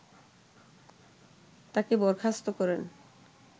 তাকে বরখাস্ত করেন